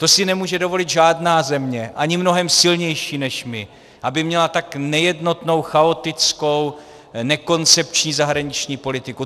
To si nemůže dovolit žádná země, ani mnohem silnější než my, aby měla tak nejednotnou, chaotickou, nekoncepční zahraniční politiku.